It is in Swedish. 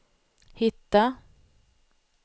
hitta